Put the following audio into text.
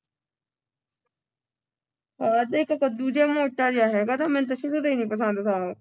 ਆਹੋ ਇੱਕ ਕੱਢੂੰ ਜੇਹਾ ਮੋਟਾ ਜਿਹਾ ਹੈਗਾ ਮੈਨੂੰ ਤੇ ਜ਼ਰਾ ਨਹੀਂ ਪਸੰਦ